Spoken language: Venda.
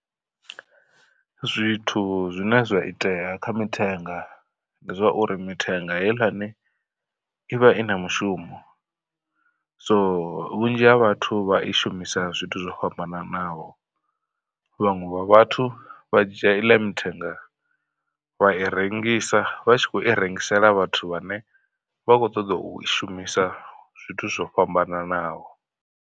Zwithu zwine zwa itea kha mithenga ndi zwa uri mithenga heiḽani i vha i na mushumo. So vhunzhi ha vhathu vha i shumisa zwithu zwo fhambananaho vhaṅwe. Vha vhathu vha dzhia iḽa mithenga vha i rengisa vha tshi khou i rengisela vhathu vhane vha khou ṱoḓa u i shumisa zwithu zwo fhambananaho.